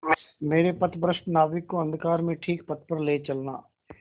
मेरे पथभ्रष्ट नाविक को अंधकार में ठीक पथ पर ले चलना